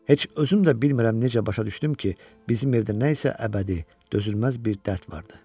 Heç özüm də bilmirəm necə başa düşdüm ki, bizim evdə nəsə əbədi, dözülməz bir dərd vardı.